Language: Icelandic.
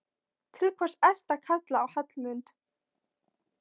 Til hvers ertu að kalla á Hallmund?